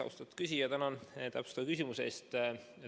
Austatud küsija, tänan täpsustava küsimuse eest!